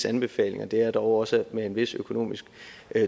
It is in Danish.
anbefalinger det er dog også med en vis økonomisk